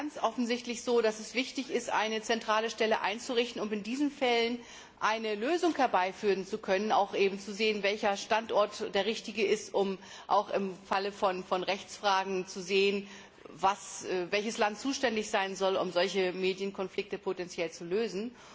Es ist ganz offensichtlich so, dass es wichtig ist, eine zentrale Stelle einzurichten, um in diesen Fällen eine Lösung herbeiführen zu können und auch zu sehen, welcher Standort der richtige ist, um im Falle von Rechtsfragen zu sehen, welches Land zuständig sein soll, um solche Medienkonflikte zu lösen.